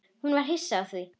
Hún var hissa á því.